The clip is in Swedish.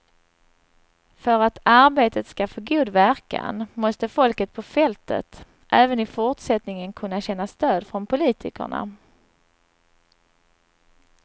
För att arbetet skall få god verkan måste folket på fältet även i fortsättningen kunna känna stöd från politikerna.